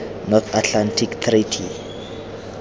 north atlantic treaty